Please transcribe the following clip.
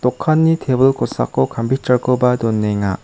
dokanni tebil kosako kampiter koba donenga.